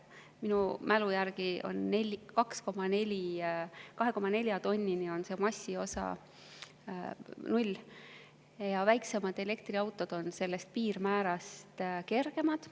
Minu mälu järgi on 2,4 tonnini massiosa 0 ja väiksemad elektriautod on sellest piirmäärast kergemad.